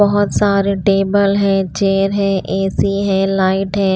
बहुत सारे टेबल है चेयर है ए_सी है लाइट है।